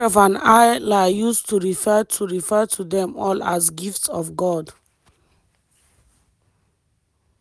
ashraf and hala use to refer to refer to dem all as “gifts of god”.